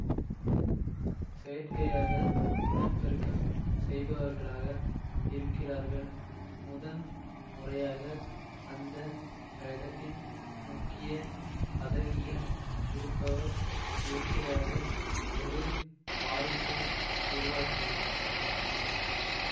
செயற்கையாக இனப்பெருக்கம் செய்பவர்களாக இருக்கிறார்கள் முதன் முறையாக அந்த கிரகத்தின் முக்கிய பதவியில் இருப்பவர் இயற்கையாக ஒரு வாரிசை உருவாக்குகிறார்